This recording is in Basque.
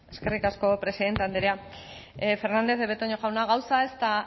eskerrik asko presidente andrea fernandez de betoño jauna gauza ez da